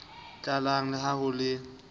tlalang le ha ho le